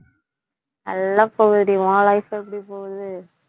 நல்லா போகுதுடி உன் life எப்படி போகுது